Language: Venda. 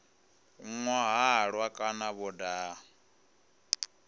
nwa halwa kana vho daha